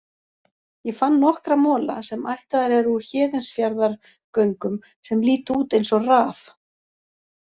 Ég fann nokkra mola, sem ættaðir eru úr Héðinsfjarðargöngum, sem líta út eins og raf.